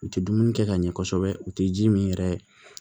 U tɛ dumuni kɛ ka ɲɛ kosɛbɛ u tɛ ji min yɛrɛ